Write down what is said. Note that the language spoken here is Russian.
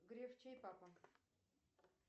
греф чей папа